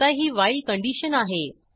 आता ही while condition आहे